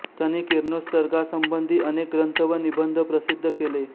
त्यांनी किरणोत्सर्गासंबंधी अनेक ग्रंथ व निबंध प्रसिद्घ केले